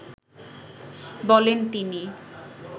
বলেন তিনি